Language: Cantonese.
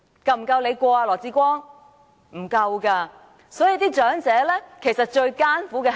並不足夠。所以，長者其實最艱苦的是甚麼？